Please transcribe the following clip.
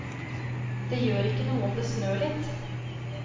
Det gjør ikke noe om det snør litt.